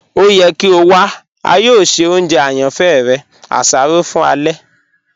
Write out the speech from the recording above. O yẹ kí o wà, a yọọ ṣẹ ọ̀njẹ ayànífẹ̀ rẹ; àṣárọ̀ fún ẹlẹ̀.